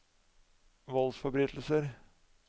voldsforbrytelser